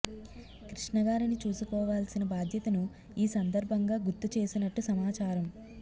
కృష్ణ గారిని చూసుకోవాల్సిన బాధ్యతను ఈ సందర్భంగా గుర్తు చేసినట్టు సమాచారం